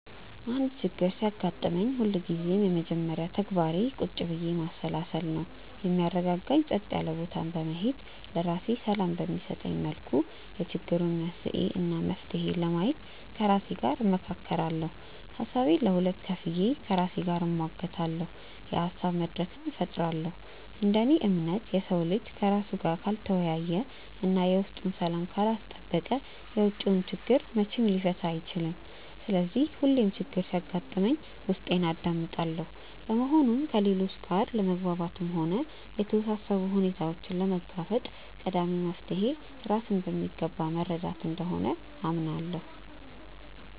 አንድ ችግር ሲያጋጥመኝ ሁልጊዜም የመጀመሪያ ተግባሬ ቁጭ ብዬ ማሰላሰል ነው። የሚያረጋጋኝ ጸጥ ያለ ቦታ በመሄድ፣ ለራሴ ሰላም በሚሰጠኝ መልኩ የችግሩን መንስኤ እና መፍትሄ ለማየት ከራሴ ጋር እመካከራለሁ። ሀሳቤን ለሁለት ከፍዬ ከራሴ ጋር እሟገታለሁ፤ የሀሳብ መድረክም እፈጥራለሁ። እንደ እኔ እምነት፣ የሰው ልጅ ከራሱ ጋር ካልተወያየ እና የውስጡን ሰላም ካላስጠበቀ የውጪውን ችግር መቼም ሊፈታ አይችልም። ስለዚህ ሁሌም ችግር ሲያጋጥመኝ ውስጤን አዳምጣለሁ። በመሆኑም ከሌሎች ጋር ለመግባባትም ሆነ የተወሳሰቡ ሁኔታዎችን ለመጋፈጥ ቀዳሚው መፍትሔ ራስን በሚገባ መረዳት እንደሆነ አምናለሁ።